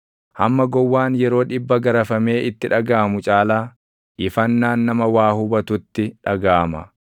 Hamma gowwaan yeroo dhibba garafamee itti dhagaʼamu caalaa ifannaan nama waa hubatutti dhagaʼama.